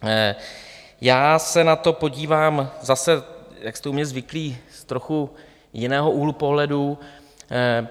Já se na to podívám zase, jak jste u mě zvyklí, z trochu jiného úhlu pohledu.